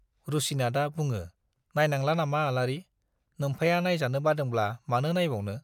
रुसिनाथआ बुङो, नाइनांला नामा आलारि, नोम्फाया नाइजानो बादोंब्ला मानो नाइबावनो?